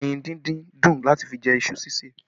Ẹyin díndín dùn láti fi jẹ iṣu ṣíṣeè